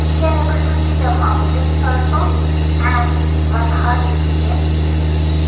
we can able to see the mountains also and one hut is there in this picture.